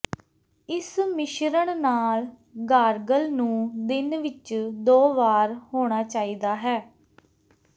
ਇਸ ਮਿਸ਼ਰਣ ਨਾਲ ਗਾਰਗਲ ਨੂੰ ਦਿਨ ਵਿੱਚ ਦੋ ਵਾਰ ਹੋਣਾ ਚਾਹੀਦਾ ਹੈ